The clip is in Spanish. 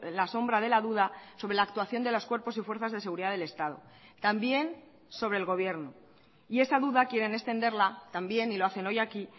la sombra de la duda sobre la actuación de los cuerpos y fuerzas de seguridad del estado también sobre el gobierno y esa duda quieren extenderla también y lo hacen hoy aquí